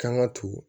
Kan ga ton